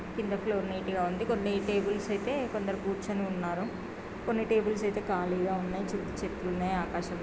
కింద ఫ్లోర్ నీటుగా ఉంది కొన్న్ని టేబుల్స్ అయితే కొందరు కూర్చొని ఉన్నారు. కొన్ని టేబుల్స్ అయితే ఖాళీగా ఉన్నాయి. చుట్టూ చెట్లున్నాయి ఆకాశం--